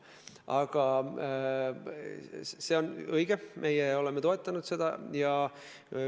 Aga see on õige, meie oleme seda toetanud.